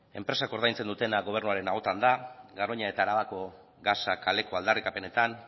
enpresak ordaintzen dutena gobernuaren ahotan da garoña eta arabako gasak kaleko aldarrikapenetan